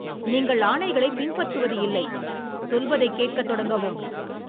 நீங்கள், ஆணைகளை பின்பற்றுவது இல்லை, சொல்வதை கேட்க தொடங்கவும்.